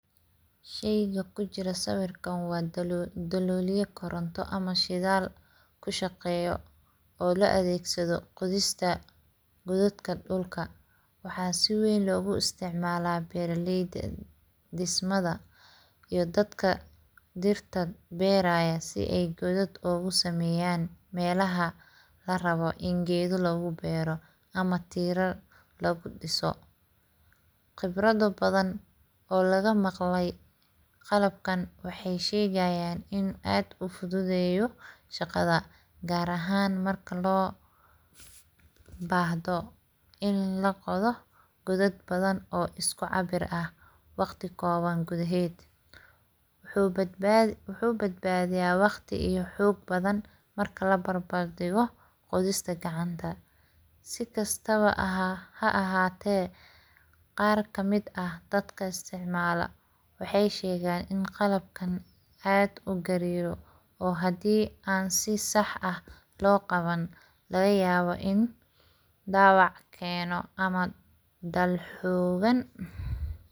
Shaka ku jiro siwirkan daloliyo goranta ah ama shidal, ku shaqayoh oo la adagsadoh qodista gododka dulka, waxaa sii wan ku isticmalah baralyda, dismada iyo dadka dirta bariyo sii aya godod ogu samayan malaha laa rabah ina gado lagu baro, ama tiral lagu disoh, qabrada badan oo laga maqlay qalbkan waxay shegayan in aad ufican ufududayoh shaqada garahan marku loo bahdo, in laqodah godad baadan oo isku cabir ah waqti kowan kudahad, wuxu baadbadi waqti iyo xog badan marka laa barbar dimoh qodista, sii gasta baa xahata qar ka mid ah dadka isticmaloh, waxay shegan ina qalbkan aad ugaroh oo hadii an sii sax ah loqawanin laga yawa in dawac ganoh ama dal xogan.